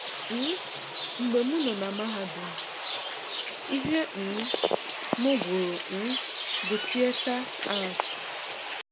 um Mgbe m nọ na mahadum, ihe um m gụrụ um bụ 'Theatre Arts'.